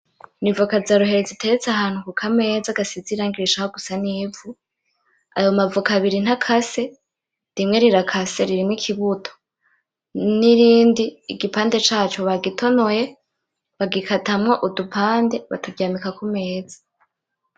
Ni ivoka za ruheri ziteretse ahantu kuka meza gasize irangi rishaka gusa n'ivu, ayo ma voka abiri ntakase , rimwe rirakase ririmwo ikibuto , n'irindi igipande caco bagitonoye bagikatamwo udupande baturyamika kumeza.